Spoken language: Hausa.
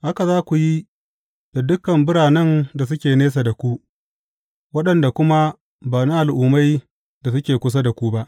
Haka za ku yi da dukan biranen da suke nesa da ku, waɗanda kuma ba na al’ummai da suke kusa ba.